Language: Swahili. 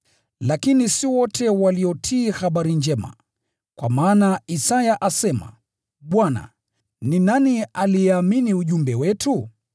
Lakini si wote waliotii Habari Njema. Kwa maana Isaya asema, “Bwana, ni nani aliyeamini ujumbe wetu?”